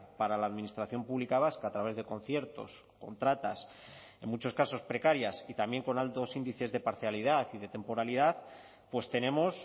para la administración pública vasca a través de conciertos contratas en muchos casos precarias y también con altos índices de parcialidad y de temporalidad pues tenemos